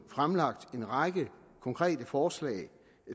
fremlagt en række konkrete forslag